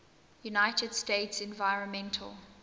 united states environmental